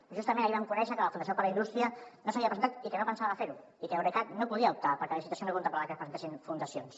però justament ahir vam conèixer que la fundació per la indústria no s’havia presentat i que no pensava ferho i que eurecat no hi podia optar perquè la licitació no contemplava que es presentessin fundacions